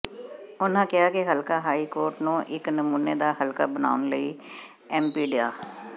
ਉਨ੍ਹਾਂ ਕਿਹਾ ਕਿ ਹਲਕਾ ਰਾਏਕੋਟ ਨੂੰ ਇੱਕ ਨਮੂਨੇ ਦਾ ਹਲਕਾ ਬਣਾਉਣ ਲਈ ਐੱਮਪੀ ਡਾ